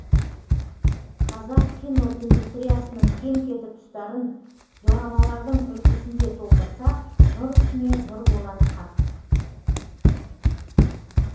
қазақ киноиндустриясының кем кетік тұстарын дорамалардың үлгісінде толтырсақ нұр үстіне нұр болары хақ